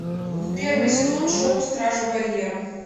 первый сезон шоу стражи барьера